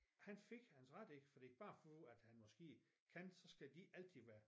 Han fik hans ret ikke fordi bare fordi at han måske kan så skal de ikke altid være